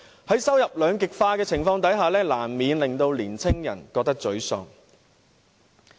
在收入兩極化的情況下，年青人難免覺得沮喪。